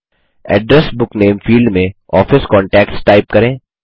address book name field में office contacts type करें